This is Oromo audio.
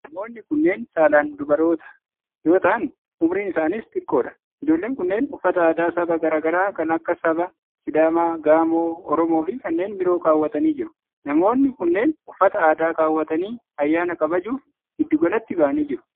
Namoonni kunneen saalan dubaroota yoo ta'an, umuriin isaaniis xiqqoo dha. Ijoolleen kunneen uffata aadaa saba garaa garaa kan akka saba:Sidaamaa, Gaamoo, Oromoo fi kanneen biroo kaawwatanii jiru. Namoonni kunneen ,uffata aadaa kaawwatanii ayyaana kabajuuf giddugalatti bahanii jiru.